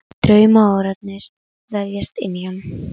Og draumórarnir vefjast inn í hann.